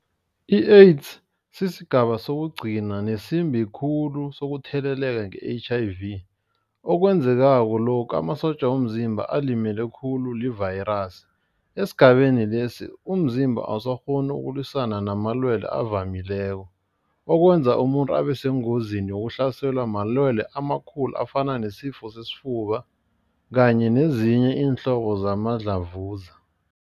I-AIDS sisigaba sokugcina nesimbi khulu sokutheleleka nge-H_I_V. Okwenzekako lokha amasotja womzimba alimele khulu livayirasi. Esigabeni lesi umzimba awusakghoni ukulwisana namalwele avamileko. Okwenza umuntu abe sengozini yokuhlaselwa malwelwe amakhulu afana nesifo sesifuba kanye nezinye iinhlobo zamadlavuza.